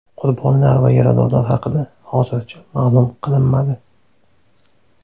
Qurbonlar va yaradorlar haqida hozircha ma’lum qilinmadi.